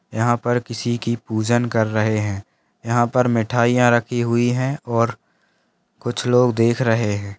यहां पर किसी की पूजन कर रहे है यहां पर मिठाईयाँ रखी हुई है और कुछ लोग देख रहे है।